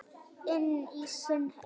Inn í sinn heim.